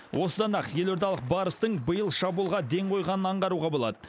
осыдан ақ елордалық барыстың биыл шабуылға ден қойғанын аңғаруға болады